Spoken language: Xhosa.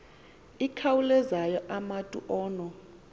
ikhawulezayo umatu ono